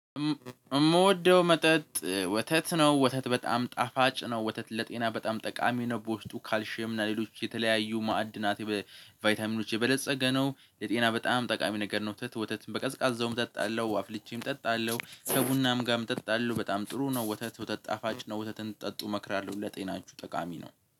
የምወደው መጠጥ ወተት ነው ወተት በጣም ጣፋጭ ነው። ወተት ለጤና በጣም ጠቃሚ ነበር ውስጡ ካልሼየም እና ሌሎች የተለያዩ ማዕድናት ቫይታሚኖች የበለፀገ ነው። የጤና በጣም ጠቃሚ ነገር ነው። ወተት ወተት በቀዝቃዛውም እጠጣለሁ አፍልቼም እጠጣለሁ ከቡናም ጋርም እጠጣለሁ በጣም ጥሩ ነው። ወተት ወተት ጣፋጭ ነው። ወተትን ጠጡ መክራለሁ ለጤናችሁ ጠቃሚ ነው